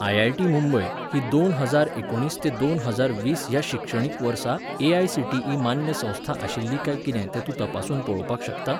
IIT Mumbai ही दोन हजार एकुणीस ते दोन हजार वीस ह्याशिक्षणीक वर्सा एआयसीटीई मान्य संस्था आशिल्ली काय कितें तें तूं तपासून पळोवपाक शकता?